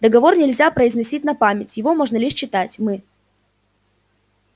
договор нельзя произносить на память его можно лишь читать мы